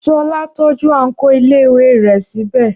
Ṣọlá tọ́jú àǹkóò iléèwé rẹ̀ sí bẹ̀